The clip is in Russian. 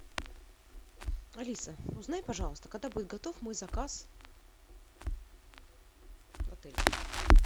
алиса узнай пожалуйста когда будет готов мой заказ в отеле